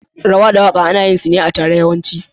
Rawa da waka ana yinsu ne a tare yawanci.